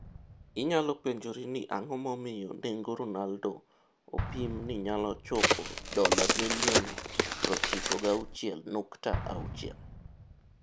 Inyalo penjori ni ang'o momiyo nengo Ronaldo opim ni nyalo chopo $96,6 milioni.